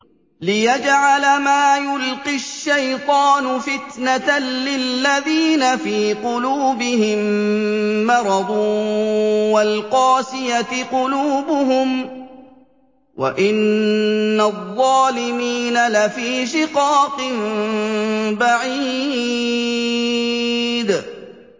لِّيَجْعَلَ مَا يُلْقِي الشَّيْطَانُ فِتْنَةً لِّلَّذِينَ فِي قُلُوبِهِم مَّرَضٌ وَالْقَاسِيَةِ قُلُوبُهُمْ ۗ وَإِنَّ الظَّالِمِينَ لَفِي شِقَاقٍ بَعِيدٍ